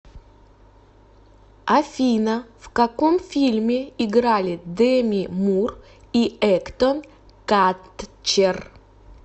афина в каком фильме играли деми мур и эктон катчер